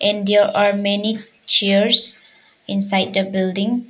And there are many chairs inside the building.